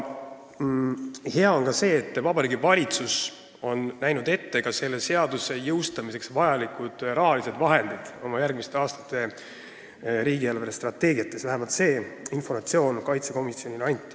Hea on seegi, et Vabariigi Valitsus on näinud ette selle seaduse jõustamiseks vajalikud rahalised vahendid oma järgmiste aastate riigi eelarvestrateegiates – selline informatsioon vähemalt riigikaitsekomisjonile anti.